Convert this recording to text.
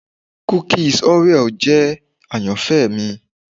Kukis Oreo jẹ ayanfẹ mi